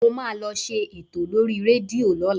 Mo máa lọ ṣe ètò lórí rédíò lọ́la